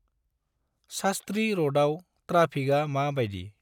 सास्ट्रि रडआव ट्राफिकआ मा बायदि?